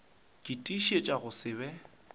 ke tiišetša go se be